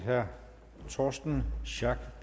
herre torsten schack